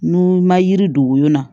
N'u ma yiri don woyo na